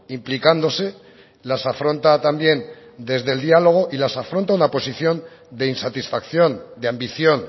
implicándose las afronta también desde el diálogo y las afronta una posición de insatisfacción de ambición